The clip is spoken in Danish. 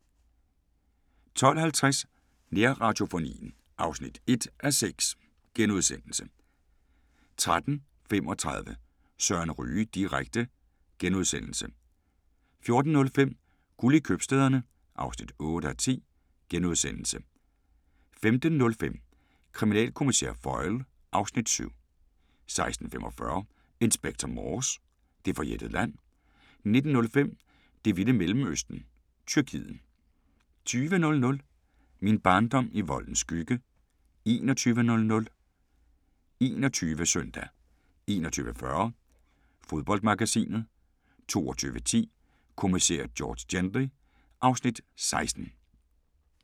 12:50: Nærradiofonien (1:6)* 13:35: Søren Ryge direkte * 14:05: Guld i købstæderne (8:10)* 15:05: Kriminalkommissær Foyle (Afs. 7) 16:45: Inspector Morse: Det forjættede land 19:05: Det vilde Mellemøsten -Tyrkiet 20:00: Min barndom i voldens skygge 21:00: 21 Søndag 21:40: Fodboldmagasinet 22:10: Kommissær George Gently (Afs. 16)